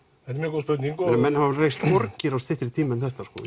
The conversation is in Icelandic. góð spurning menn hafa nú reist borgir á styttri tíma en þetta